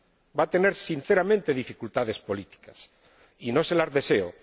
Va a tener, sinceramente, dificultades políticas, y no se las deseo.